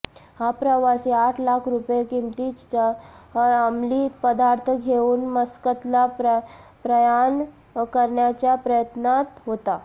हा प्रवासी आठ लाख रूपये किमतीचा अमली पदार्थ घेऊन मस्कतला प्रयाण करण्याच्या प्रयत्नात होता